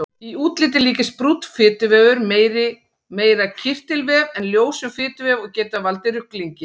Í útliti líkist brúnn fituvefur meira kirtilvef en ljósum fituvef og getur það valdið ruglingi.